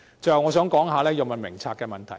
最後，我想談《藥物名冊》的問題。